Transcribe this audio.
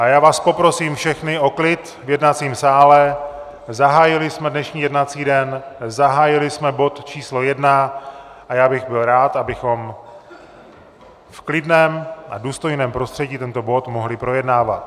A já vás poprosím všechny o klid v jednacím sále, zahájili jsme dnešní jednací den, zahájili jsme bod číslo 1 a já bych byl rád, abychom v klidném a důstojném prostředí tento bod mohli projednávat.